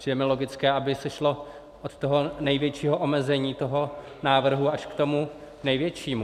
Přijde mi logické, aby se šlo od toho největšího omezení toho návrhu až k tomu největšímu(?).